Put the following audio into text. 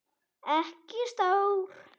Ekki stór.